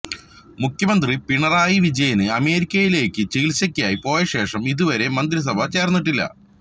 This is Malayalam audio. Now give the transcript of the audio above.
മുഖ്യമന്ത്രി പിണറായി വിജയന് അമേരിക്കയിലേക്ക് ചികിത്സയ്ക്കായി പോയശേഷം ഇതുവരെ മന്ത്രിസഭ ചേര്ന്നിട്ടില്ല